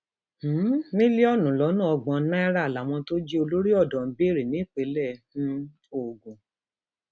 um mílíọnù lọnà ọgbọn náírà làwọn tó jí olórí odò ń béèrè nípínlẹ um ogun